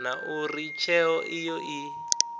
na uri tsheo iyo i